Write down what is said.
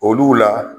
Olu la